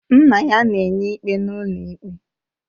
Nna ya na-enye ikpe n'ụlọ ikpe